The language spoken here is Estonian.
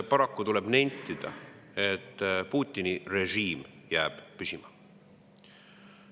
Paraku tuleb nentida, et Putini režiim jääb püsima.